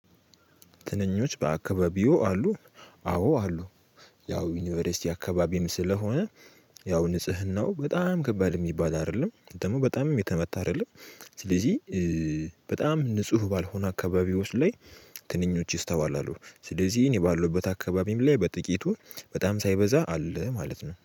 ትንኞች በአካባቢው አሉ? አዎ አሉ። ያው ዩኒቨርሲቲ አካባቢም ስለሆነ ያው ንጽህናው በጣም ከባድ የሚባል አይደለም። ደሞ በጣምም የተመታ አይደለም። ስለዚህ በጣም ንጹህ ባልሆነ አካባቢዎች ላይ ትንኞች ይስተዋላሉ። ስለዚህ እኔ ባለሁበት አካባቢም ላይ በጥቂቱ በጣም ሳይበዛ አለ ማለት ነው።